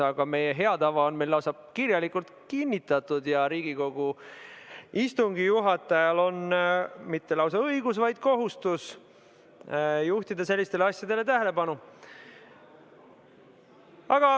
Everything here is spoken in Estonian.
Aga meie hea tava on meil lausa kirjalikult kinnitatud ja Riigikogu istungi juhatajal ei ole mitte ainult õigus, vaid lausa kohustus juhtida sellistele asjadele tähelepanu.